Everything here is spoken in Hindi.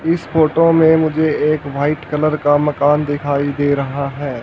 इस फोटो में मुझे एक व्हाइट कलर का मकान दिखाई दे रहा है।